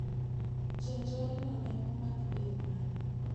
Ja njoreno ne omak e yo mane?